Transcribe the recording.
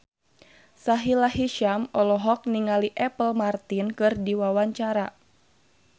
Sahila Hisyam olohok ningali Apple Martin keur diwawancara